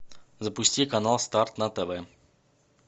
запусти канал старт на тв